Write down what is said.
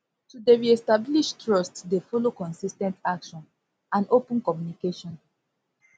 to dey reestablish trust dey follow consis ten t action and open communication